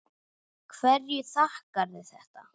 Hverju þakkarðu þetta?